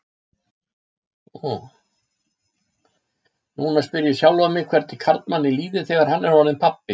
Núna spyr ég sjálfan mig hvernig karlmanni líði þegar hann er orðinn pabbi.